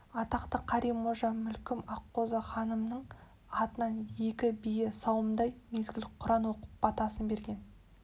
атақты қари қожа мүлкім аққозы ханымның атынан екі бие сауымдай мезгіл құран оқып батасын берген